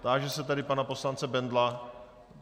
Táži se tedy pana poslance Bendla?